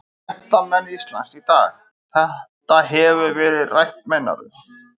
Fréttamenn Ísland í dag: Þetta hefur verið rætt meinarðu?